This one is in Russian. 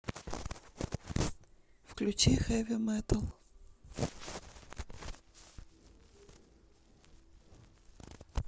включи хэви метал